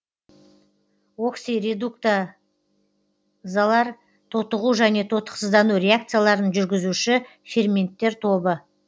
оксиредукта залар тотығу және тотықсыздану реакцияларын жүргізуші ферменттер тобы